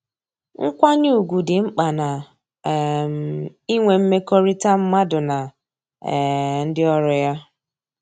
Nkwanye ugwu dị mkpa na um inwe mmekọrịta mmadụ na um ndị ọrụ ya